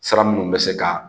Sira minnu bɛ se ka